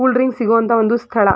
Cool drinks ಸಿಗೋ ಅಂತ ಒಂದು ಸ್ಥಳ.